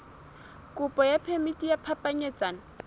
kopo ya phemiti ya phapanyetsano